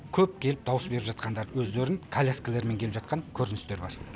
көп келіп дауыс беріп жатқандары өздерінің коляскаларымен келіп жатқан көріністері бар